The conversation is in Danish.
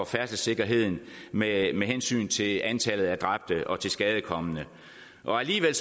færdselssikkerheden med hensyn til antallet af dræbte og tilskadekomne alligevel